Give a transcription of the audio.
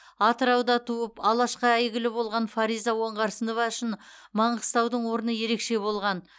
атырауда туып алашқа әйгілі болған фариза оңғарсынова үшін маңғыстаудың орны ерекше болған